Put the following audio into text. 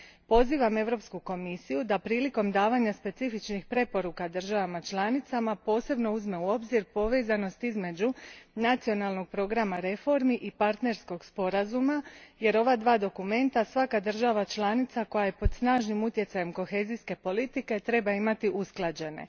Pozivam Europsku komisiju da prilikom davanja specifičnih preporuka državama članicama posebno uzme u obzir povezanost između nacionalnog programa reformi i partnerskog sporazuma jer ova dva dokumenta svaka država članica koja je pod snažnim utjecajem kohezijske politke treba imati usklađene.